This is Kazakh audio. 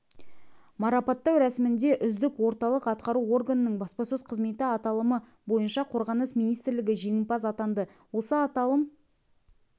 марапаттау рәсімінде үздік орталық атқару органының баспасөз қызметі аталымы бойынша қорғаныс министрлігі жеңімпаз атанды осы аталым